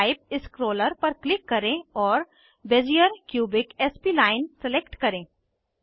type scroller पर click करें और बेजियर क्यूबिक स्प्लाइन सलेक्ट करें